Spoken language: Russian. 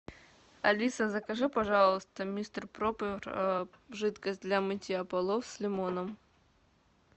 алиса закажи пожалуйста мистер пропер жидкость для мытья полов с лимоном